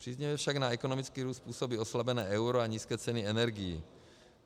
Příznivě však na ekonomický růst působí oslabené euro a nízké ceny energií.